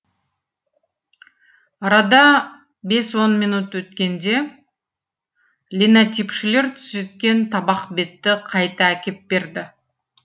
арада бес он минут өткенде линотипшілер түзеткен табақ бетті қайта әкеп берді